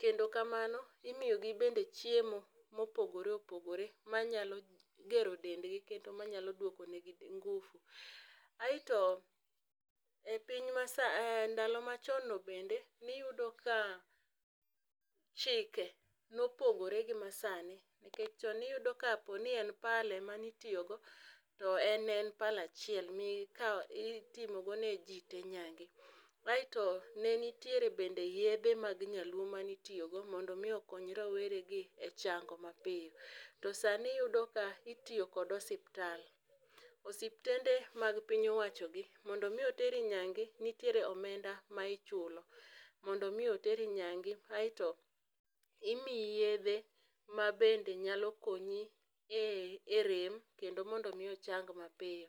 Kendo kamano imiyo gi bende chiemo ma opogore opogore ma nyalo gero dend gi kendo ma nyalo dwoke ne gi nguvu. Aito e piny ma sani e ndalo ma chon no bende ni iyudo ka chike ne opogore gi ma saa ni, nikech chon ne iyudo ka po ni ne pala ma ne itiyo go to en ne en pala achiel mi ikawo mi itimo go ne ji te nyange. Aito ne nitiere bende yedhe mag nyaluo ma ne itiyo go kendo mi okony rawere e chango ma piyo. To saa ni iyudo ka itiyo kod osiptal, osiptende mag piny owacho gi mondo mi oteri nyange ni tiere omenda ma ichulo mondo mi oteri nyange aito imiyi yedhe ma bende nyalo konyi e rem kendo mondo mi ochang ma piyo.